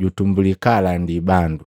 jutumbuli kaalandi bandu Maluko 1:14-15; Luka 4:14-15